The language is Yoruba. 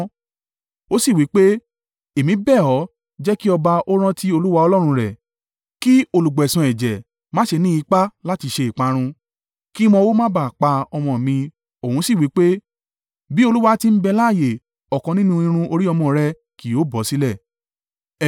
Ó sì wí pé, “Èmi bẹ̀ ọ́ jẹ́ kí ọba ó rántí Olúwa Ọlọ́run rẹ̀, kí olùgbẹ̀san ẹ̀jẹ̀ má ṣe ní ipá láti ṣe ìparun, kí wọn o má bá a pa ọmọ mi!” Òun sì wí pé, “Bí Olúwa ti ń bẹ láààyè ọ̀kan nínú irun orí ọmọ rẹ ki yóò bọ sílẹ̀.”